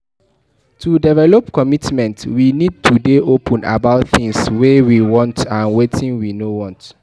To develop commitment we need to dey open about things wey we want and wetin we no want